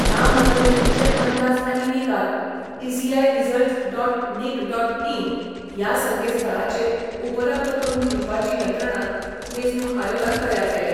या मतमेजणीचे अंदाज आनी निकाल 'ECI results dot nic dot in 'या संकेतस्थळाचेर उपलब्ध करुन दिवपाची यंत्रणा वेचणूक आयोगान तयार केल्या.